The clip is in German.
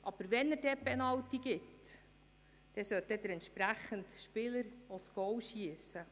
Aber wenn er dann einen Penalty vergibt, dann sollte der entsprechende Spieler auch das Goal schiessen.